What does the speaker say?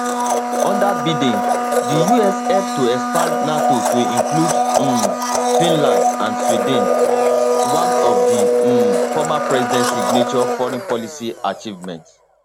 under biden the us help to expand nato to include um finland and sweden one of di um former president signature foreign policy achievements